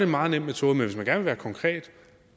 meget nem metode men hvis man gerne vil være konkret